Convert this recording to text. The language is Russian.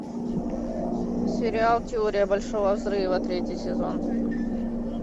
сериал теория большого взрыва третий сезон